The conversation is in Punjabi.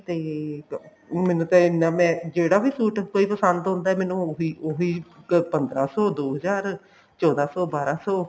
ਤੇ ਮੈਨੂੰ ਤੇ ਇੰਨਾ ਜਿਹੜਾ ਵੀ suit ਕੋਈ ਪਸੰਦ ਹੁੰਦਾ ਮੈਨੂੰ ਉਹੀ ਉਹੀ ਪੰਦਰਾ ਸੋ ਦੋ ਹਜ਼ਾਰ ਚੋਦਾਂ ਸੋ ਬਾਰਾਂ ਸੋ